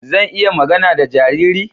Zan iya magana da jariri?